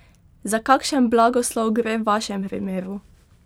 Za kakšen blagoslov gre v vašem primeru?